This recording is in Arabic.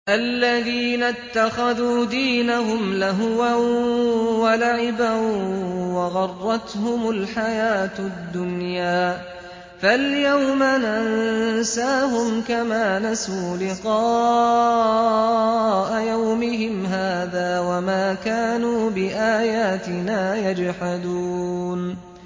الَّذِينَ اتَّخَذُوا دِينَهُمْ لَهْوًا وَلَعِبًا وَغَرَّتْهُمُ الْحَيَاةُ الدُّنْيَا ۚ فَالْيَوْمَ نَنسَاهُمْ كَمَا نَسُوا لِقَاءَ يَوْمِهِمْ هَٰذَا وَمَا كَانُوا بِآيَاتِنَا يَجْحَدُونَ